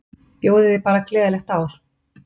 Bjóðiði bara gleðilegt ár.